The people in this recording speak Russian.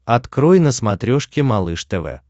открой на смотрешке малыш тв